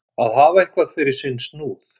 Að hafa eitthvað fyrir sinn snúð